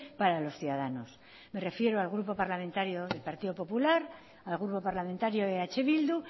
para los ciudadanos me refiero al grupo parlamentario del partido popular al grupo parlamentario de eh bildu